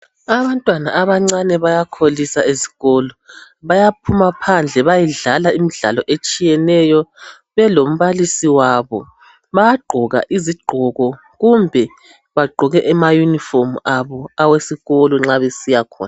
Abantwana abancane bayakholisa ezikolo. Bayaphuma phandle bayedlala imdlalo etshiyeneyo, belombalisi wabo. Bayagqoka izigqoko, kumbe bagqoke ama uniform abo awesikolo nxa besiyakhona.